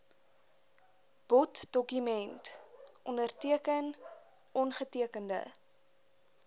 boddokument onderteken ongetekende